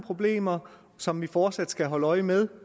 problemer som vi fortsat skal holde øje med